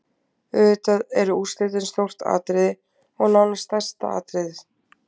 Auðvitað eru úrslitin stórt atriði, og nánast stærsta atriðið.